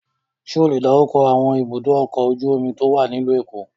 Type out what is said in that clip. Ṣé ó le dárúkọ àwọn ibùdó-ọkọ̀ ojú-omi tó wà nílùú Èkó?